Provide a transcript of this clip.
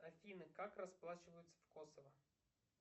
афина как расплачиваются в косово